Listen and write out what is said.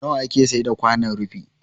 Nawa ake saida kwanon rufi?